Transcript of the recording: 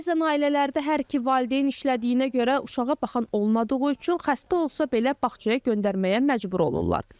Bəzən ailələrdə hər iki valideyn işlədiyinə görə uşağa baxan olmadığı üçün xəstə olsa belə bağçaya göndərməyə məcbur olurlar.